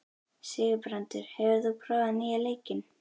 Sigurbrandur, hefur þú prófað nýja leikinn?